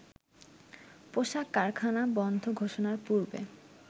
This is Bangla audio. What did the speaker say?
পোশাক কারখানা বন্ধ ঘোষণার পূর্বে